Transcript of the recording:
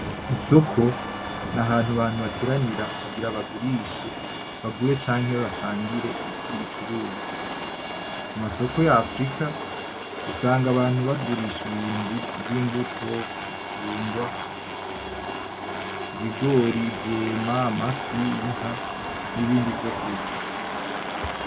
Isoko ni ahantu abantu bateranira kugira bagurishe, bagure canke basangire ibicuruzwa. Mumasoko ya afirika usanga abantu bagurisha ibintu vy'imbuto ; ibijumba; ibigori ; amafi n'ibindi vyo kurya .